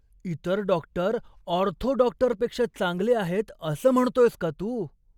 इतर doctor ortho डॉक्टरपेक्षा चांगले आहेत असं म्हणतोयस का तू?